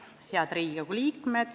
Head Riigikogu liikmed!